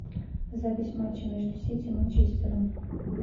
запись матча между сити и манчестером